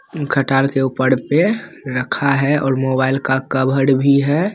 ओं खटाल के उपर पे रखा है और मोबाइल का कवर भी है |